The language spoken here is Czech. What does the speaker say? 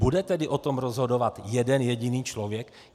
Bude tedy o tom rozhodovat jeden jediný člověk?